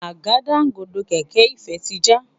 Àgádágodo kẹ̀kẹ́ Ifẹ tí já.